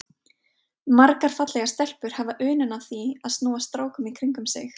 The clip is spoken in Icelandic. Margar fallegar stelpur hafa unun af því að snúa strákum í kringum sig.